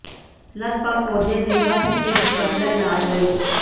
ਲਗਭਗ ਪੌਦੇ ਦੇ ਹਰ ਹਿੱਸੇ ਵਿਚ ਵਰਤਿਆ ਇਲਾਜ ਲਈ